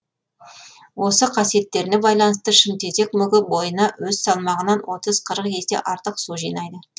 осы қасиеттеріне байланысты шымтезек мүгі бойына өз салмағынан отыз қырық есе артық су жинайды